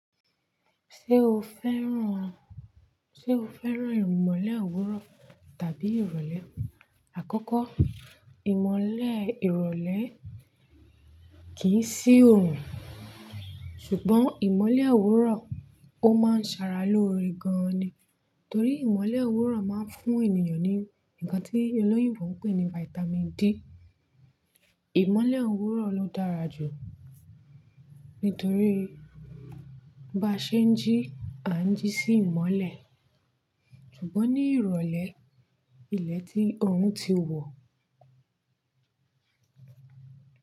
Ṣé o fẹ́ràn, ìmọ́lẹ̀ òwúrọ̀ tàbí ìrọ̀lẹ́? Àkọ́kọ́, ìmọ́lẹ̀ ìrọ̀lẹ́ kì í sí òórùn ṣùgbọ́n ìmọ́lẹ̀ òwúrọ̀ ó máa ń ṣàrà lóore gan ni. Torí ìmọ́lẹ̀ òwúrọ̀ máa ń fún ènìyàn ní ǹkan tí olóyin bò ń pè ní Vitamin D. Ìmọ́lẹ̀ òwúrọ̀ ló dára jù nítorí bá ṣe ń jí, à ń jí sí ìmọ́lẹ̀. Ṣùgbọ́n ní ìrọ̀lẹ́, ilẹ̀ tí òórùn ti wọ̀